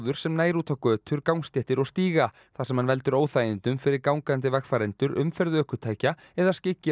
sem nær út á götur gangstéttir og stíga þar sem hann veldur óþægindum fyrir gangandi vegfarendur umferð ökutækja eða skyggir á